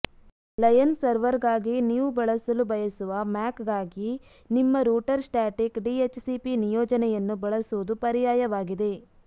lion ಸರ್ವರ್ಗಾಗಿ ನೀವು ಬಳಸಲು ಬಯಸುವ ಮ್ಯಾಕ್ಗಾಗಿ ನಿಮ್ಮ ರೂಟರ್ ಸ್ಟ್ಯಾಟಿಕ್ ಡಿಹೆಚ್ಸಿಪಿ ನಿಯೋಜನೆಯನ್ನು ಬಳಸುವುದು ಪರ್ಯಾಯವಾಗಿದೆ